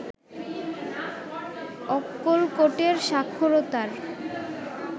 অক্কলকোটের সাক্ষরতার